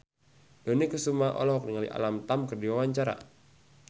Dony Kesuma olohok ningali Alam Tam keur diwawancara